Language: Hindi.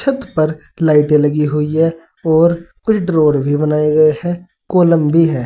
छत पर लाइटें लगी हुई है और कुछ डोर भी बनाए गए हैं। कॉलम भी है।